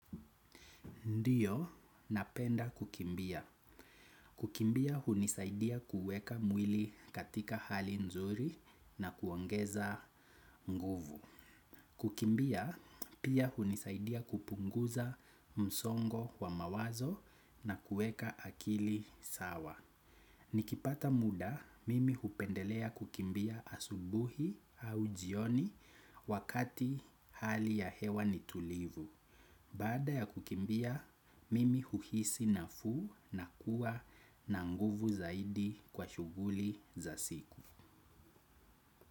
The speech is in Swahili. Ndiyo, napenda kukimbia. Kukimbia, hunisaidia kueka mwili katika hali nzuri na kuongeza nguvu. Kukimbia, pia hunisaidia kupunguza msongo wa mawazo na kueka akili sawa. Nikipata muda, mimi hupendelea kukimbia asubuhi au jioni wakati hali ya hewa nitulivu. Baada ya kukimbia, mimi huhisi na fuu na kuwa na nguvu zaidi kwa shuguli za siku.